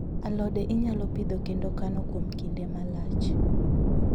Alode inyalo Pidhoo kendo kano kuom kinde malach